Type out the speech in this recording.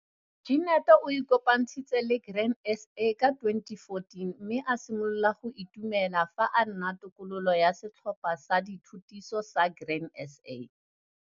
Jenet o ikopantshitse le Grain SA ka 2014 mme a simolola go itumela fa a nna tokololo ya setlhopha sa dithutiso sa Grain SA.